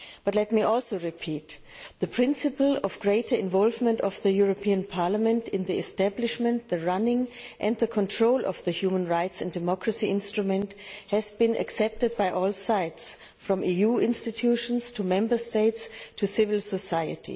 Let me also repeat that the principle of greater involvement of the European Parliament in the establishment, running and control of the human rights and democracy instrument has been accepted on all sides, from the EU institutions to Member States to civil society.